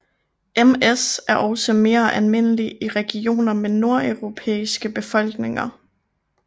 MS er også mere almindelig i regioner med nordeuropæiske befolkninger